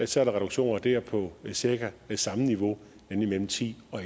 så er der reduktioner der på cirka samme niveau nemlig mellem ti og